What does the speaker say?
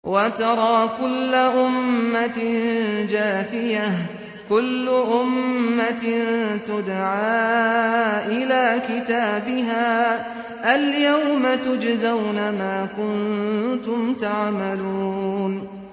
وَتَرَىٰ كُلَّ أُمَّةٍ جَاثِيَةً ۚ كُلُّ أُمَّةٍ تُدْعَىٰ إِلَىٰ كِتَابِهَا الْيَوْمَ تُجْزَوْنَ مَا كُنتُمْ تَعْمَلُونَ